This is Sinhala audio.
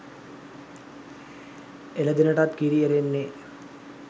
එළදෙනටත් කිරි එරෙන්නේ